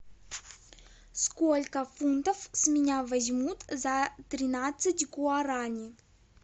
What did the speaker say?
сколько фунтов с меня возьмут за тринадцать гуарани